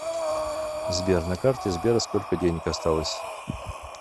сбер на карте сбера сколько денег осталось